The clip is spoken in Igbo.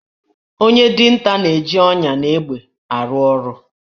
Onye dinta na-eji ọnyà na egbe arụ ọrụ